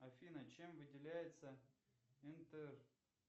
афина чем выделяется интер